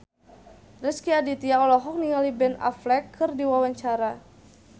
Rezky Aditya olohok ningali Ben Affleck keur diwawancara